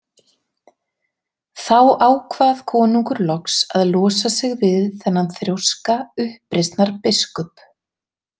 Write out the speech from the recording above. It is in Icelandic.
Þá ákvað konungur loks að losa sig við þennan þrjóska uppreisnarbiskup.